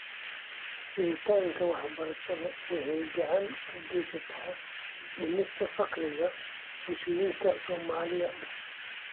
Helitaanka waxbarashada waxay gacan ka geysataa dhimista faqriga bulshooyinka Soomaalida.